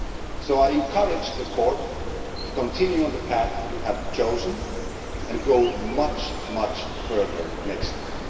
So I encourage the Court to continue on the path it has chosen and to go much further next year.